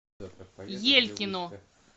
елькину